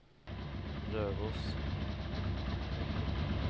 Røros